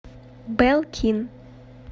белкин